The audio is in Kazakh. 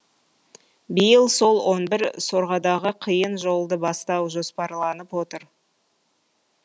биыл сол он бір сорғадағы қиын жолды бастау жоспарланып отыр